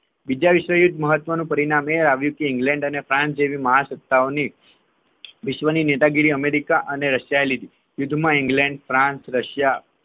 બીજા વિશ્વયુદ્ધ નું મહત્વનું પરિણામ એ આવ્યું કે ઇંગ્લેન્ડ અને ફ્રાંસ જેવી મહાસત્તાઓ ની વિશ્વની નેતાગીરી અમેરિકા અને રશિયા એ લીધી યુદ્ધમાં ઇંગ્લેન્ડ ફ્રાન્સ રશિયા